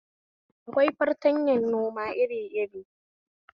Akwai fartanyan noma iri iri